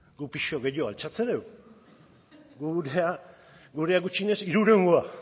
guk pisu gehiago altxatzen dugu gurea gutxienez hirurehun kilokoa